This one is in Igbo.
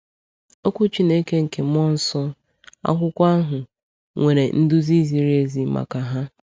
Okwu Chineke nke mmụọ nsọ, akwụkwọ ahụ, nwere nduzi ziri ezi maka ha.